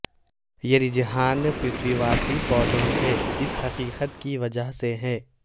یہ رجحان پرتویواسی پودوں تھے اس حقیقت کی وجہ سے ہے